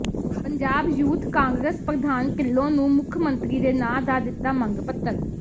Punjab youth Congress ਪ੍ਰਧਾਨ ਿਢੱਲੋਂ ਨੂੰ ਮੁੱਖ ਮੰਤਰੀ ਦੇ ਨਾਂ ਦਿੱਤਾ ਮੰਗ ਪੱਤਰ